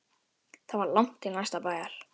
Það var langt til næsta bæjar.